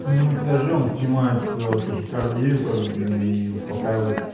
ну не скажи он снимает тахикардию как бы блин и успокаивает